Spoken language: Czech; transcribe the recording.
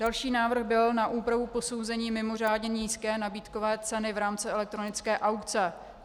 Další návrh byl na úpravu posouzení mimořádně nízké nabídkové ceny v rámci elektronické aukce.